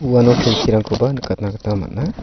uano kelkirangkoba nikatna gita man·a.